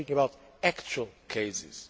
We are talking about actual cases.